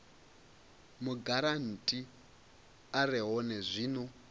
mugarantii a re hone zwino